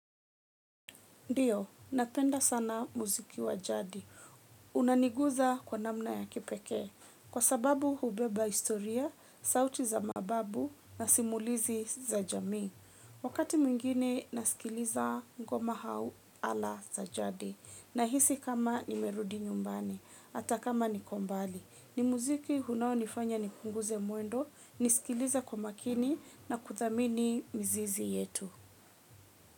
Ndiyo, napenda sana muziki wa jadi. Unaniguza kwa namna ya kipekee. Kwa sababu hubeba historia, sauti za mababu na simulizi za jamii. Wakati mwingine nasikiliza ngoma hau ala za jadi. Nahisi kama nimerudi nyumbani, ata kama niko mbali. Ni muziki hunaonifanya nipunguze mwendo, nisikilize kwa makini na kuthamini mizizi yetu.